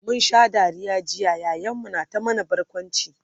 mun Sha Dariya jiya yayan mu na ta mana barkwanci